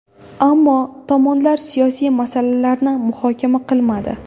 Ammo tomonlar siyosiy masalalarni muhokama qilmadi.